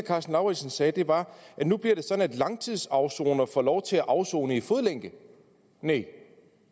karsten lauritzen sagde var at nu bliver det sådan at langtidsafsonere får lov til at afsone i fodlænke nej